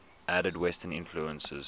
added western influences